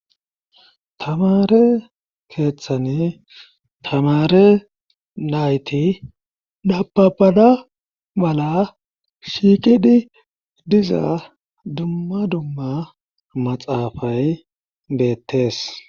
Tamare keeththani tamare nayti dabapada bala shiiqidi diza dumma dumma maxaafay beettees